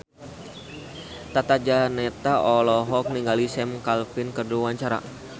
Tata Janeta olohok ningali Sam Claflin keur diwawancara